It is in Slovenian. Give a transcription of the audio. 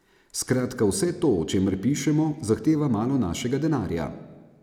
Skratka, vse to, o čemer pišemo, zahteva malo našega denarja.